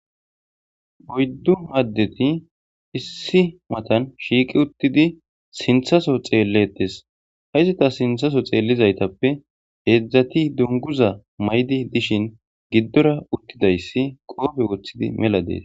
oyddu addeti issi matan shiiqi uttidi sinthaso xeelletes hayzeta sinthaso xeellizaytappe heedzdzati dunguza maydi dishin giddora uttidayssi qoofe woththidi mela dees